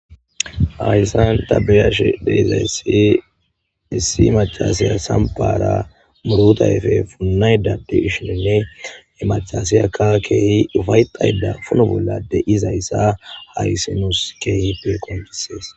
Hayissan ta be'ashe de'izayisii issi mac'c'asiya sampara muruta ayife funayida de'ishine he mac'c'asiyaka keehi ufayitayida funo bolla de'izaysa haysi nuusi keehipe qonc'sees